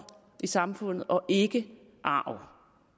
i samfundet og ikke arv